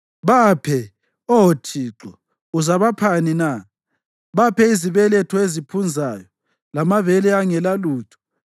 Baphe, Oh Thixo uzabaphani na? Baphe izibeletho eziphunzayo lamabele angelalutho.